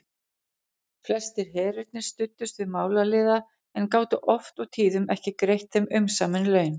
Flestir herirnir studdust við málaliða en gátu oft og tíðum ekki greitt þeim umsamin laun.